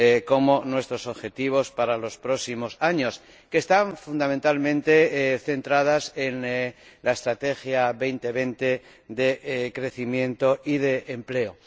como nuestros objetivos para los próximos años, que están fundamentalmente centradas en la Estrategia 2020 de crecimiento y de empleo.